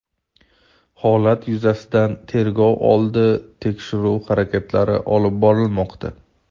Holat yuzasidan tergov oldi tekshiruv harakatlari olib borilmoqda.